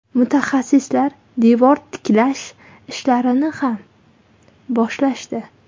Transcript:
Mutaxassislar devor tiklash ishlarini ham boshlashdi.